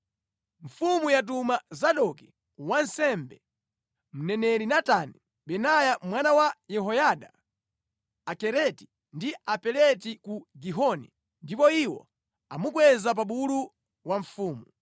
Mfumu yatuma Zadoki wansembe, mneneri Natani, Benaya mwana wa Yehoyada, Akereti ndi Apeleti ku Gihoni ndipo iwo amukweza pa bulu wa mfumu,